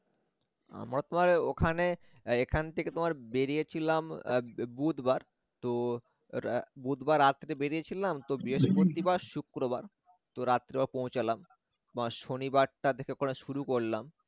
আমার তো আর ওখানে এ~এখান থেকে তোমার বেরিয়েছিলাম এর বে~বুধবার তো এর বুধবার রাত্রে বেরিয়েছিলাম তো বৃহস্পতিবার শুক্রবার তো রাত্রে পৌঁছলাম তোমার শনিবারটা থেকে ঘোরা শুরু করলাম